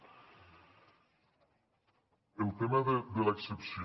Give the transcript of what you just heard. el tema de l’excepció